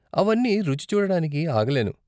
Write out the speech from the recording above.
అవన్నీ రుచి చూడటానికి ఆగలేను.